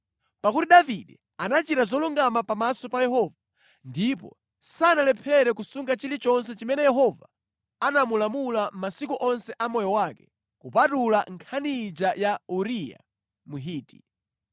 pakuti Davide anachita zolungama pamaso pa Yehova ndipo sanalephere kusunga chilichonse chimene Yehova anamulamula masiku onse a moyo wake kupatula nkhani ija ya Uriya Mhiti.